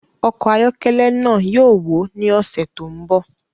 Ọkọ̀ ayọ́kẹ́lẹ́ náà yóò wó ní ọ̀sẹ̀ tó ń bọ̀